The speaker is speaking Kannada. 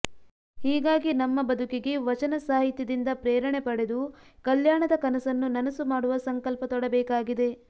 ಹೀಗಾಗಿ ನಮ್ಮ ಬದುಕಿಗೆ ವಚನ ಸಾಹಿತ್ಯದಿಂದ ಪ್ರೇರಣೆ ಪಡೆದು ಕಲ್ಯಾಣದ ಕನಸನ್ನು ನನಸು ಮಾಡುವ ಸಂಕಲ್ಪ ತೊಡಬೇಕಾಗಿದೆ